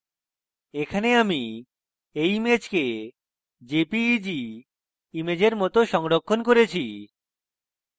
এখানে আমি এই ইমেজকে jpeg ইমেজের মত সংরক্ষণ করেছি